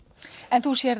en þú sérð